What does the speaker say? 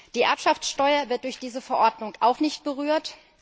Die Erbschaftssteuer wird durch diese Verordnung auch nicht berührt.